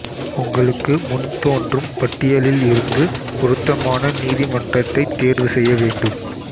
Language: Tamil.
உங்களுக்கு முன் தோன்றும் பட்டியலில் இருந்து பொருத்தமான நீதிமன்றத்தைத் தேர்வுசெய்ய வேண்டும்